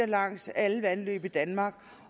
langs alle vandløb i danmark